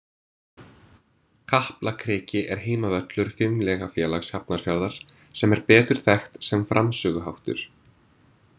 Kaplakriki er heimavöllur Fimleikafélags Hafnarfjarðar sem er betur þekkt sem framsöguháttur